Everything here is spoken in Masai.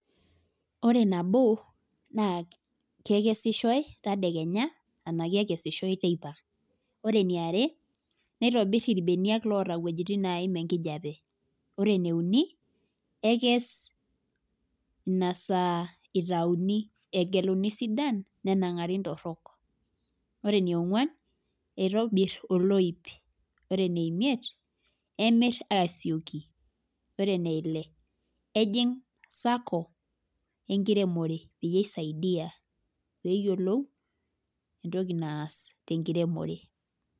Ore nabo naa kekesishoe tedekenya ashu kekesishoe teipa. ore eniare neitobir ilbeniak loota wuejitin naim enkijiape, ore ene uni ekes Ina saa itayuni egeluni sidan nenangari nitoroke, ore ene imiet, emir aasioki. ore ene Ile ejing sacco enkiremore peyie isaidia pee eyiolou entoki naas tenkiremore.